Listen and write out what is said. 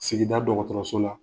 Sigida dɔgɔtɔrɔso la.